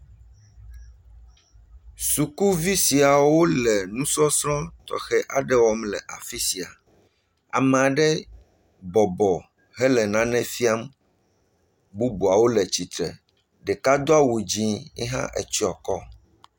sukuvi siawo le nusɔsrɔ̃ tɔxe aɖe wɔm le afisia ama'ɖe bɔbɔ hele nane fiam bubuawo le tsitre ɖeka hã dó awu dzĩ ye hã etsyɔ kɔ